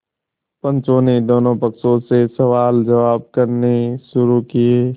पंचों ने दोनों पक्षों से सवालजवाब करने शुरू किये